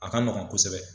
A ka nɔgɔn kosɛbɛ